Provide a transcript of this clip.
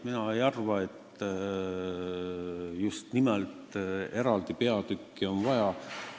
Mina ei arva, et just nimelt eraldi peatükki on vaja.